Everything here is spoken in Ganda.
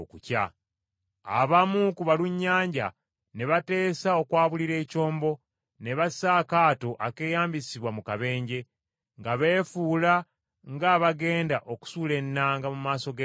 Abamu ku balunnyanja ne bateesa okwabulira ekyombo ne bassa akaato akeyambisibwa mu kabenje, nga beefuula ng’abagenda okusuula ennanga mu maaso g’ekyombo.